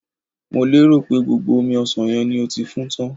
mo pero pe gbogbo omi osan yen ni e ti fun tan